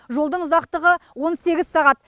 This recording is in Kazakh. жолдың ұзақтығы он сегіз сағат